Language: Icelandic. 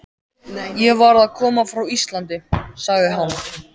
Ég var að koma frá Íslandi, sagði hann.